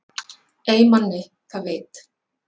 Ey manni það veit